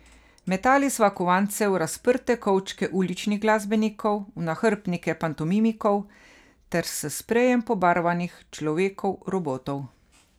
Metali sva kovance v razprte kovčke uličnih glasbenikov, v nahrbtnike pantomimikov ter s sprejem pobarvanih človekov robotov.